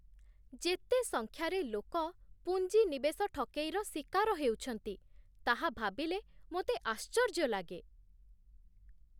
ଯେତେ ସଂଖ୍ୟାରେ ଲୋକ ପୁଞ୍ଜି ନିବେଶ ଠକେଇର ଶିକାର ହେଉଛନ୍ତି, ତାହା ଭାବିଲେ ମୋତେ ଆଶ୍ଚର୍ଯ୍ୟ ଲାଗେ।